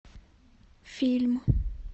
фильм